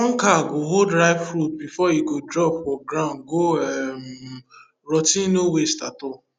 plucker go hold ripe fruit before e drop for ground go um rot ten no waste at all